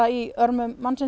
í örmum mannsins